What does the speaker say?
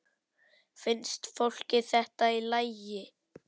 Finnst fólki þetta í lagi?